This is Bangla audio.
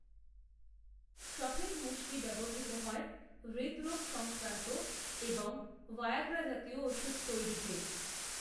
সফেদ মুসলি ব্যবহৃত হয়হৃদরোগ সংক্রান্তএবং ভায়াগ্রা জাতীয় ওষুধ তৈরিতে